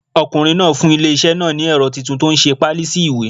Ọkùnrin náà fún ilé iṣẹ́ náà ní ẹ̀rọ titun tó nse páálí sí ìwé